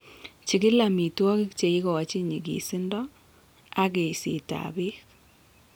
Chigil amitwogik che igochin nyigisindo, ak eeiseetab beek.